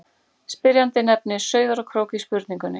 Spyrjandi nefnir Sauðárkrók í spurningunni.